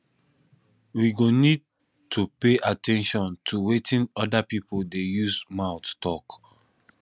we go need to pay at ten tion to wetin oda pipo dey use mouth talk